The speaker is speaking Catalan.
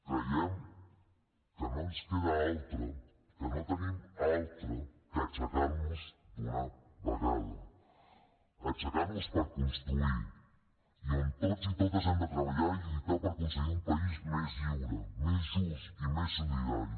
creiem que no ens queda altre que no tenim altre que aixecar nos d’una vegada aixecar nos per construir i on tots i totes hem de treballar i lluitar per aconseguir un país més lliure més just i més solidari